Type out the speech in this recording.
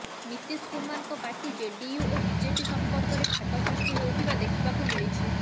ନୀତିଶ କୁମାରଙ୍କ party JDU ଓ BJP ସମ୍ପର୍କରେ ଫାଟ ସୃଷ୍ଟି ହେଉଥିବା ଦେଖିବାକୁ ମିଳିଛି